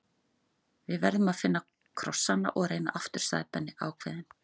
Við verðum að finna krossana og reyna aftur sagði Benni ákveðinn.